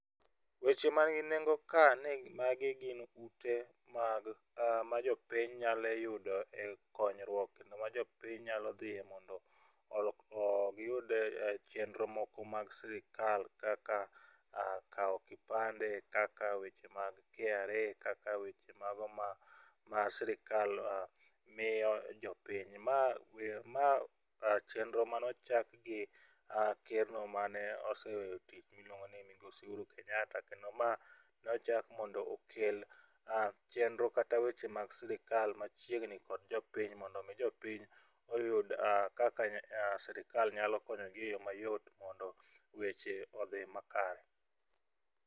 Weche man gi nengo ka en ni magi gin ute mag ma jopiny nyalo yudo e konyruok no ma jopiny nyalo dhie mondo giyud chenro moko mag sirikal kaka kawo kipande, kaka weche mag KRA kaka weche mago ma sirikal miyo jopiny. Ma we ma chenro mano chak gi keno mane oseweyo tich miluongo ni migosi Uhuru Kenyatta kendo ma nochak mondo okel chenro kata weche mag sirikal machiegni kod jopiny mondo mi jopiny oyud kaka sirikal nyalo konyogi e yo mayot mondo weche odhi makare.